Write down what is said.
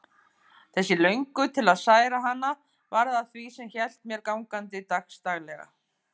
Þessi löngun til að særa hana varð að því sem hélt mér gangandi dagsdaglega.